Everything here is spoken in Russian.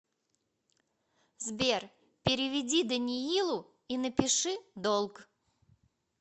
сбер переведи даниилу и напиши долг